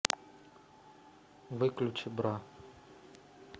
выключи бра